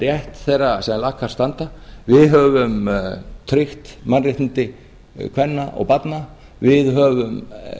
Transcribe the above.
rétt þeirra sem lakast standa við höfum tryggt mannréttindi kvenna og barna við höfum